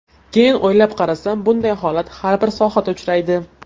Keyin o‘ylab qarasam, bunday holat har bir sohada uchraydi.